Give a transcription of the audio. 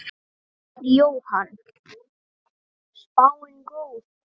Jóhann: Spáin góð?